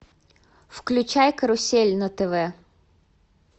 включай карусель на тв